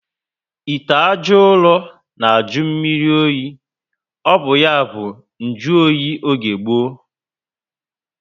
Ite ajọ uro na ajụ mmírí oyi. O bu ya bu njuoyi oge gboo